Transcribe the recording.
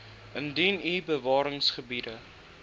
indien u bewaringsgebiede